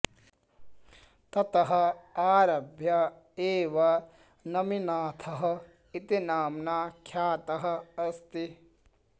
ततः आरभ्य एव नमिनाथः इति नाम्ना ख्यातः अस्ति